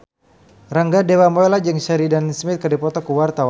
Rangga Dewamoela jeung Sheridan Smith keur dipoto ku wartawan